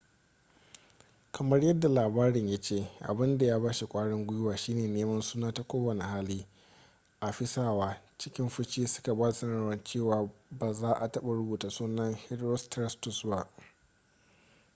kamar yadda labarin ya ce abin da ya ba shi ƙwarin guiwa shi ne neman suna ta kowane hali afisawa cikin fushi suka ba da sanarwar cewa ba za a taɓa rubuta sunan herostratus ba